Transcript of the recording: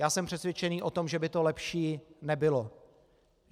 Já jsem přesvědčený o tom, že by to lepší nebylo.